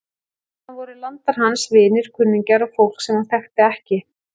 Þarna voru landar hans, vinir, kunningjar og fólk sem hann þekkti ekki.